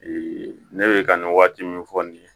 ne bɛ ka nin waati min fɔ nin ye